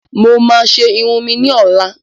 Mo ma ṣe irun mi ni ọlá.